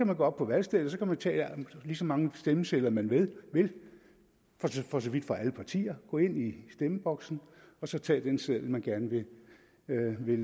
man gå op på valgstedet og tage lige så mange stemmesedler man vil vil for så vidt fra alle partier gå ind i stemmeboksen og så tage den seddel man gerne vil